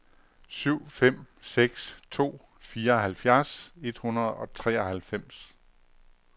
syv fem seks to fireoghalvfjerds et hundrede og treoghalvfems